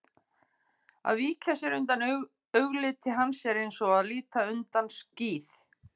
Að víkja sér undan augliti hans er eins og að líta undan skíð